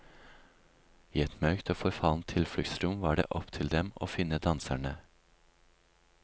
I et mørkt og forfallent tilfluktsrom var det opp til dem å finne danserne.